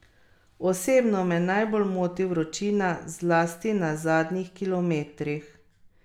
Polkovnik in major sta delala v žandarmeriji v mestu Erzurum na severovzhodu države.